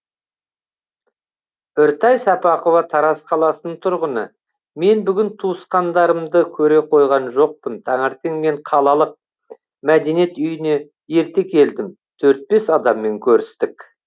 үртай сапақова тараз қаласының тұрғыны мен бүгін туысқандарымды көре қойған жоқпын таңертең мен қалаллық мәдениет үйіне ерте келдім төрт бес адаммен көрістік